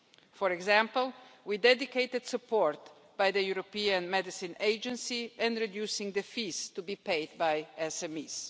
For example, we dedicated support from the European Medicines Agency to reducing the fees to be paid by SMEs.